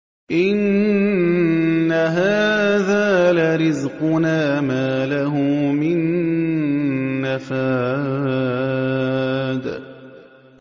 إِنَّ هَٰذَا لَرِزْقُنَا مَا لَهُ مِن نَّفَادٍ